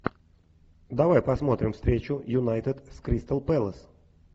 давай посмотрим встречу юнайтед с кристал пэлас